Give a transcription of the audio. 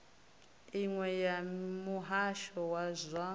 iṅwe ya muhasho wa zwa